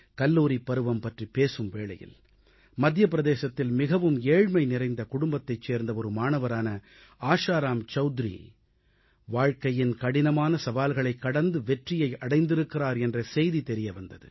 கல்லூரிப் பருவம் பற்றிப் பேசும் வேளையில் மத்திய பிரதேசத்தில் மிகவும் ஏழ்மைநிறைந்த குடும்பத்தைச் சேர்ந்த ஒரு மாணவரான ஆஷாராம் சவுத்ரி வாழ்க்கையின் கடினமான சவால்களைக் கடந்து வெற்றியை அடைந்திருக்கிறார் என்ற செய்தி தெரிய வந்தது